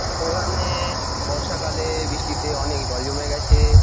এখানে-এ বর্ষা কালে-এ বৃষ্টিতে অনেক জল জমে গেছে-এ--